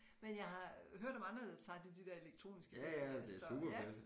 Men jeg har hørt om andre der tager til de der elektroniske festivaller så ja